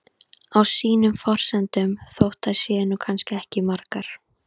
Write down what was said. Á sínum forsendum, þótt þær séu nú kannski ekki margar.